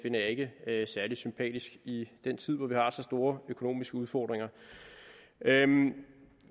jeg ikke særlig sympatisk i en tid hvor vi har så store økonomiske udfordringer